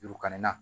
Yuruku ka nin na